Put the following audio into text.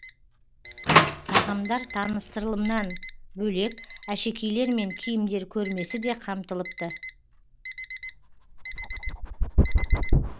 тағамдар таныстырылымынан бөлек әшекейлер мен киімдер көрмесі де қамтылыпты